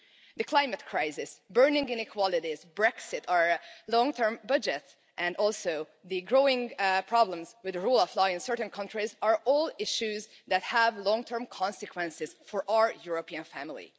The climate crisis, burning inequalities, Brexit, our long term budget and also the growing problems with the rule of law in certain countries are all issues that have long term consequences for our European family.